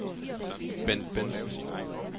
Bendt Bentzen